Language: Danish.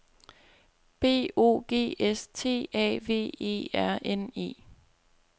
B O G S T A V E R N E